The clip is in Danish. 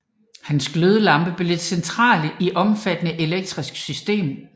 Hans glødelampe blev det centrale i et omfattende elektrisk system